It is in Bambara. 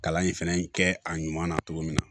Kalan in fɛnɛ kɛ a ɲuman na cogo min na